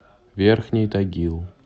верхний тагил